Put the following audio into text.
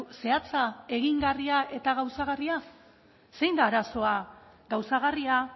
zehatza egingarria eta gauzagarria zein da arazoa gauzagarria